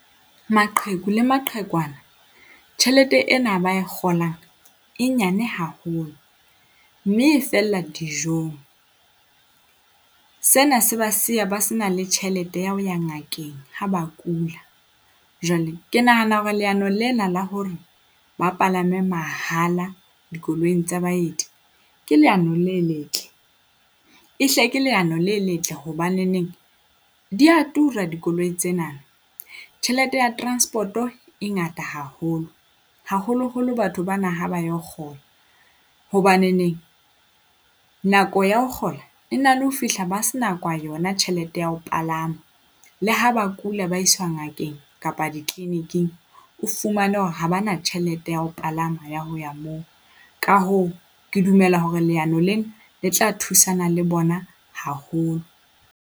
Maqheku le maqhekwana tjhelete ena a ba e kgolang e nyane haholo mme e fella dijong. Sena se ba siya ba se na le tjhelete ya ho ya ngakeng ha ba kula. Jwale ke nahana hore leano lena la hore ba palame mahala dikoloing tse baeti ke leano le letle, e hle ke leano le letle hobaneneng di a tura dikoloi tsena. Tjhelete ya transport e ngata haholo, haholoholo batho bana ha ba ilo kgolo. Hobaneneng nako ya ho kgola e na le ho fihla ba sena yona tjhelete ya ho palama le ha ba kula, ba isuwa ngakeng kapa di-clinic-ing o fumane hore ha ba na tjhelete ya ho palama ya ho ya moo. Ka hoo, ke dumela hore leano lena le tla thusana le bona haholo.